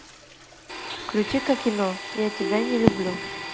включи ка кино я тебя не люблю